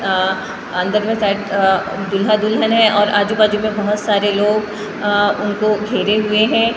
अ अंदर में साइड अ दूल्हा दुल्हन है और आजू बाजु में बहुत सारे लोग उनको घेरे हुए है --